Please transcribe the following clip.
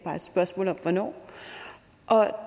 spørgsmål om hvornår